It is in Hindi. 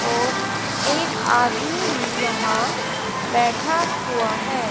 और एक आदमी भी यहां बैठा हुआ है।